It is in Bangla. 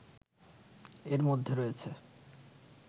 এর মধ্যে রয়েছে